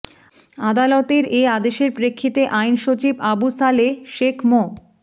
আদালতের এ আদেশের প্রেক্ষিতে আইন সচিব আবু সালেহ শেখ মো